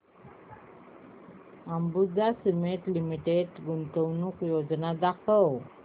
Ambuja cement limited गुंतवणूक योजना दाखव